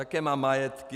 Jaké má majetky?